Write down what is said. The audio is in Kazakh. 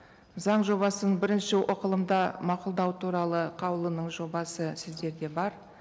заң жобасын бірінші оқылымда мақұлдау туралы қаулының жобасы сіздерде бар